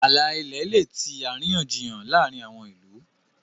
ààlà ilẹ lẹ tí àríyànjiyàn láàrin àwọn ilú.